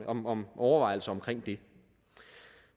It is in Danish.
om om overvejelser omkring